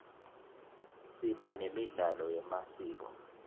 siba nemidlalo yemasiko